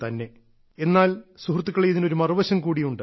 എന്നാൽ സുഹൃത്തുക്കളെ ഇതിനൊരു മറുവശം കൂടിയുണ്ട്